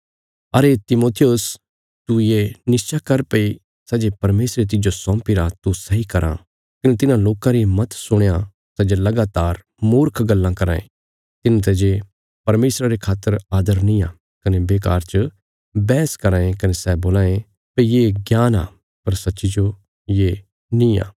अरे तिमुथियुस तू ये निश्चा कर भई सै जे परमेशरे तिज्जो सौंपीरा तू सैई कराँ कने तिन्हां लोकां री मत सुणयां सै जे लगातार मूर्ख गल्लां कराँ ये तिन्हांते जे परमेशरा रे खातर आदर नींआ कने बेकार च बैहस कराँ ये कने सै बोलां ये भई ये ज्ञान आ पर सच्चीजो ये नींआ